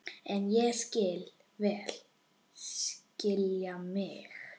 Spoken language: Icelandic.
En ég vil skilja mig.